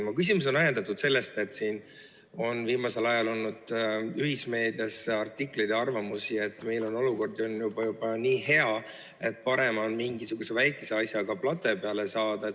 Mu küsimus on ajendatud sellest, et viimasel ajal on olnud ühismeedias artikleid ja kõlanud arvamusi, et meil on olukord juba nii hea, et parem on mingisuguse väikese asja eest plate peale saada.